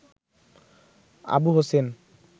Abu Hossain